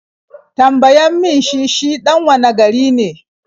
Tambayan mi shi shi ɗan wane gari ne?